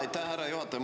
Aitäh, härra juhataja!